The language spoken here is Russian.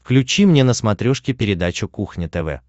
включи мне на смотрешке передачу кухня тв